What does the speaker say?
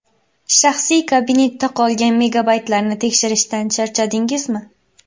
Shaxsiy kabinetda qolgan megabaytlarni tekshirishdan charchadingizmi?